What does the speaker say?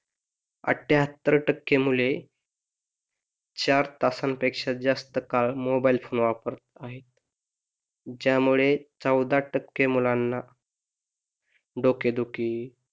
अठ्ठ्याहत्तर टक्के मुले चार तासांपेक्षा जास्त काळ मोबाईल फोन वापरत आहे ज्यामुळे चौदा टक्के मुलांना डोकेदुखी